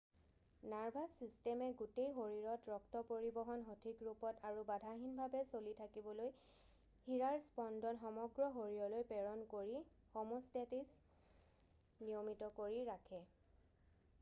nervous ছিষ্টেমে গোটেই শৰীৰত ৰক্ত পৰিবহণ সঠিক ৰূপত আৰু বাধাহীনভাৱে চলি থাকিবলৈ শিৰাৰ স্পন্দন সমগ্ৰ শৰীৰলৈ প্ৰেৰণ কৰি হম'ষ্টেছিছ নিয়মিত কৰি ৰাখে